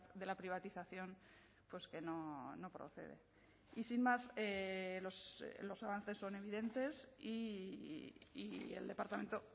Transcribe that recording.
de la privatización pues que no procede y sin más los avances son evidentes y el departamento